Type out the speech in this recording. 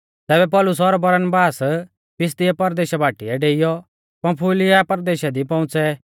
तैबै पौलुस और बरनबास पिसिदिया परदेशा बाटीऐ डेइयौ पंफूलिया परदेशा दी पौउंच़ै